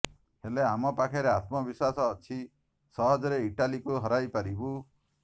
ହେଲେ ଆମ ପାଖରେ ଆତ୍ମବିଶ୍ୱାସ ଅଛି ସହଜରେ ଇଟାଲିକୁ ହରାଇ ପାରିବୁ